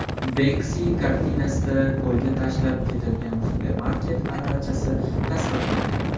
Benksi kartinasida ko‘lga tashlab ketilgan supermarket aravachasi tasvirlangan.